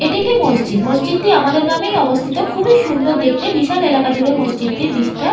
এটি একটি মসজিদ মসজিদ টি আমাদের গ্রামেই অবস্থিত খুবই সুন্দর দেখতে বিশাল এলাকা জুড়ে মসজিদ টির বিস্তার।